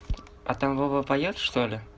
а там вова поёт что ли